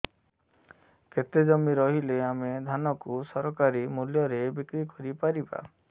କେତେ ଜମି ରହିଲେ ଆମେ ଧାନ କୁ ସରକାରୀ ମୂଲ୍ଯରେ ବିକ୍ରି କରିପାରିବା